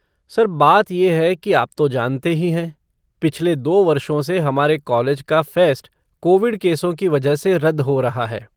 Sir, बात ये है कि आप तो जानते ही हैं, पिछले दो वर्षों से हमारे कॉलेज का फ़ेस्ट कोविड केसों की वजह से रद्द हो रहा है।